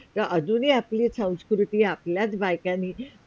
हा आजून ही आपली संस्कृति आपल्याच बायकांनी.